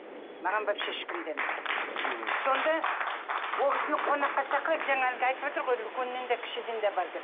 маған вообше ешкім де емес мхм сонда ол кісіні қонаққа шақырады жаңа әлгі айтыватыр ғой үлкеннен де кішіден де бар деп